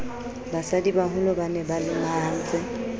basadibaholo ba ne ba lomahantse